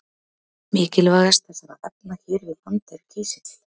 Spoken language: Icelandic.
Mikilvægast þessara efna hér við land er kísill.